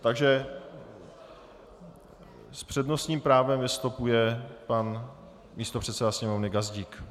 Takže s přednostním právem vystupuje pan místopředseda Sněmovny Gazdík.